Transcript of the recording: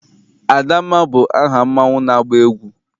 Adamma bụ aha mmanwụ na-agba egwu.